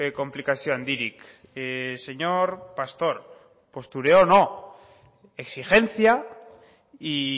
konplikazio handirik señor pastor postureo no exigencia y